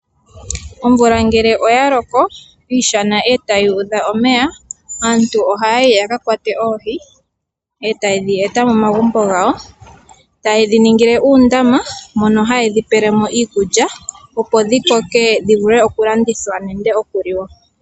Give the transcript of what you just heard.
Omvula ngele oya loko iishana e tayi udha omeya, aantu ohaya yi yaka kwate oohi, e ta yedhi e ta momagumbo gawo, ta yedhi ningile uundama mono ha yedhi pele mo iikulya opo dhi koke dhi vule oku landithwa nenge oku liwa.